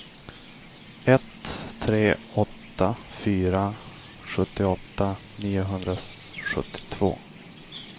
ett tre åtta fyra sjuttioåtta niohundrasjuttiotvå